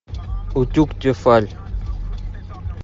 утюг тефаль